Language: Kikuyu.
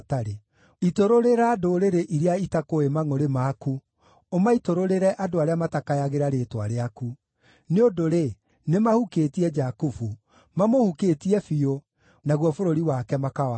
Itũrũrĩra ndũrĩrĩ iria itakũũĩ mangʼũrĩ maku, ũmaitũrũrĩre andũ arĩa matakayagĩra rĩĩtwa rĩaku. Nĩ ũndũ-rĩ, nĩmahukĩtie Jakubu; mamũhukĩtie biũ, naguo bũrũri wake makawananga.